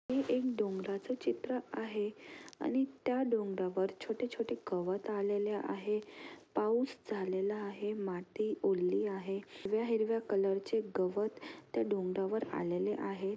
हे एक डोंगराचे चित्र आहे आणि त्या डोंगरा वर छोटे-छोटे गवत आलेल्या आहेत पाऊस झालेला आहे माती ओल्ली आहे हिरव्या-हिरव्या कलरचे गवत त्या डोंगरावर आलेले आहेत.